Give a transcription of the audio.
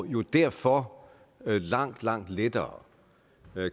jo derfor langt langt lettere